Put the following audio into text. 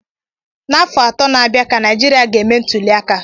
N'afọ atọ n'abia ka Naijiria ga eme ntuliaka